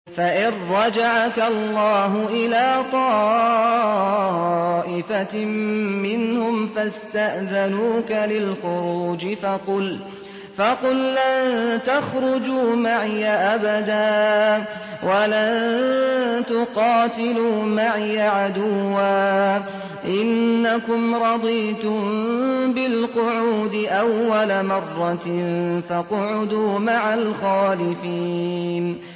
فَإِن رَّجَعَكَ اللَّهُ إِلَىٰ طَائِفَةٍ مِّنْهُمْ فَاسْتَأْذَنُوكَ لِلْخُرُوجِ فَقُل لَّن تَخْرُجُوا مَعِيَ أَبَدًا وَلَن تُقَاتِلُوا مَعِيَ عَدُوًّا ۖ إِنَّكُمْ رَضِيتُم بِالْقُعُودِ أَوَّلَ مَرَّةٍ فَاقْعُدُوا مَعَ الْخَالِفِينَ